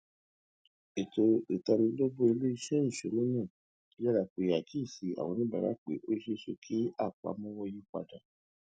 ètò ìtanilólobó iléeṣẹ ìṣúná náà yára pè àkíyèsí àwọn oníbàárà pé ó ṣeéṣe kí àpamọwọ yípadà